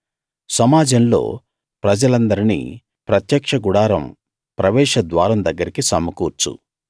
సమాజంలో ప్రజలందర్నీ ప్రత్యక్ష గుడారం ప్రవేశ ద్వారం దగ్గరికి సమకూర్చు